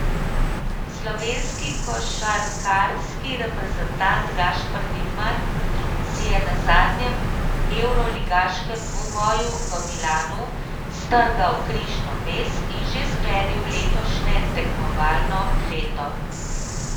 Slovenski košarkarski reprezentant Gašper Vidmar si je na zadnjem evroligaškem dvoboju v Milanu strgal križno vez in že sklenil letošnje tekmovalno leto.